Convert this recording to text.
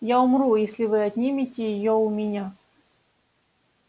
я умру если вы отнимете её у меня